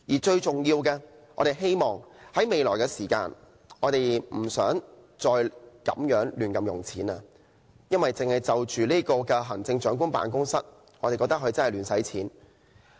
最重要的是，我們希望政府未來不再亂花公帑，因為我覺得行政長官辦公室真的在亂花公帑。